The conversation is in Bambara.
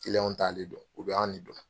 t'ale dɔn, u be anw ne dɔn.